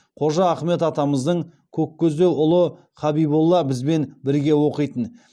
қожа ахмет атамыздың көккөздеу ұлы хабиболла бізбен бірге оқитын